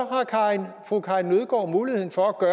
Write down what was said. har fru karin nødgaard muligheden for at